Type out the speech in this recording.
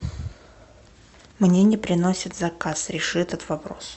мне не приносят заказ реши этот вопрос